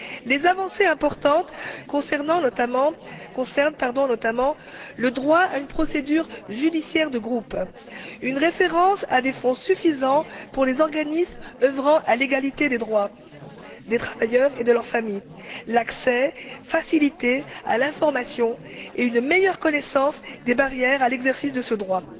Les avancées importantes concernent notamment le droit à une procédure judiciaire de groupe, une référence à des fonds suffisants pour des organismes œuvrant à l'égalité des droits des travailleurs et de leur famille, l'accès facilité à l'information et une meilleure connaissance des barrières à l'exercice de ce droit.